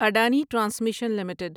Adani transmission limited